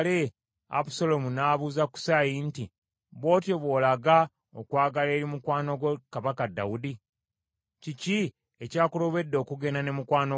Abusaalomu n’abuuza Kusaayi nti, “Bw’otyo bw’olaga okwagala eri mukwano gwo Kabaka Dawudi? Kiki ekyakulobedde okugenda ne mukwano gwo?”